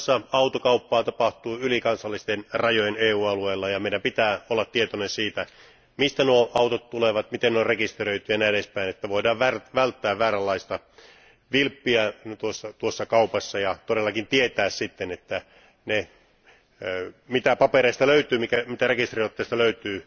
Muun muassa autokauppaa tapahtuu yli kansallisten rajojen EU alueella, ja meidän pitää olla tietoinen siitä, mistä nuo autot tulevat, miten ne on rekisteröity ja niin edespäin, jotta voidaan välttää vääränlaista vilppiä tuossa kaupassa ja todellakin tietää sitten, että ne tiedot, mitä papereista ja rekisteriotteesta löytyy,